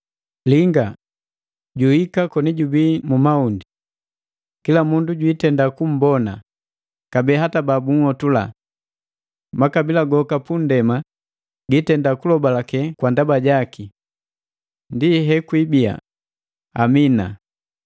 Linga! Juhika koni jubii mu mahundi! Kila mundu jwiitenda kummbona, kabee hata babunhotula. Makabila goka punndema gi itenda kulobalake kwa ndaba jaki. Ndi hekwiibia! Amina.